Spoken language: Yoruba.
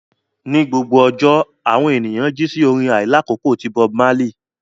Ní gbogbo àárọ̀, àwọn ènìyàn jí sí orin àìlákókò ti Bob Marley